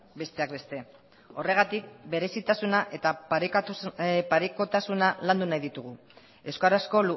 besteak beste horregatik berezitasuna eta parekotasunak landu nahi ditugu euskarazko